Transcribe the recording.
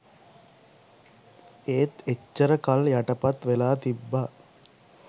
ඒත් එච්චර කල් යටපත් වෙලා තිබ්බ